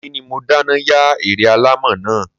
Ọ̀ní ni mo dáná yá ère alámọ̀ náà